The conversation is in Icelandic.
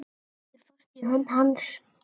Heldur fast í hönd hans.